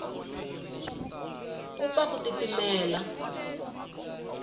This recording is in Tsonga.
ku pfa ku titimela